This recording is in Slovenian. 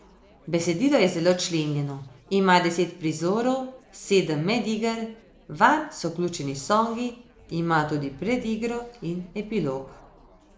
Besedilo je zelo členjeno, ima deset prizorov, sedem mediger, vanj so vključeni songi, ima tudi predigro in epilog.